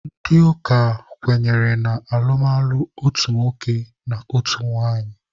Ndị ụka kwenyere na alụmalụ otu nwoke na otu nwaanyị.